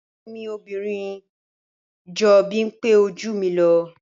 Àbúrò mi obìnrin jọ bimpe o jù mi lọ.